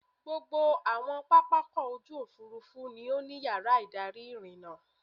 Gbogbo àwọn pápákọ̀-òfurufú ni ó ní yàrá-ìdarí ìrìnnà.